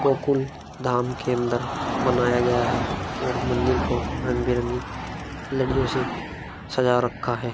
गोकुल धाम के अन्दर बनाया गया है और मन्दिर को रंग बिरंगी लरियो से सजा रखा है।